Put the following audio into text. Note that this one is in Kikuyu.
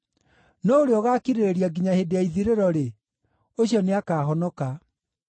no ũrĩa ũgaakirĩrĩria nginya hĩndĩ ya ithirĩro-rĩ, ũcio nĩakahonoka.